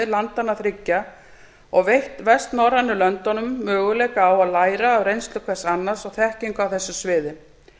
landanna þriggja og veitt vestnorrænu löndunum möguleika á að læra af reynslu hvers annars og þekkingu á þessu sviði